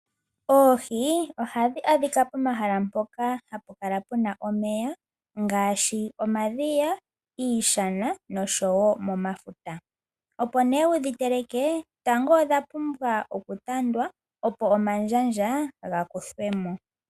Oohi ohadhi adhika pomahala mpoka hapu kala puna omeya ngaashi omadhiya, iishana oshowo momafuta opo wu dhi teleke tango odha pumbwa okutandwa opo omandjandja ga kuthwemo.